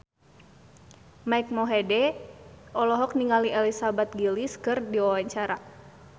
Mike Mohede olohok ningali Elizabeth Gillies keur diwawancara